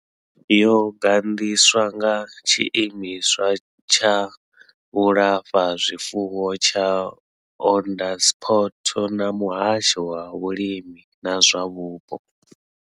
Yo gandiswa nga tshiimiswa tsha vhulafhazwifuwo tsha Onderstepoort na muhasho wa vhulimi na zwa mupo.